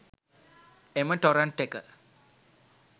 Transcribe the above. එම ටොරන්ට් එක